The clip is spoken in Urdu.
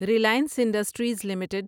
Reliance Industries limited